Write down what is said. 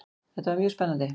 Þetta var mjög spennandi.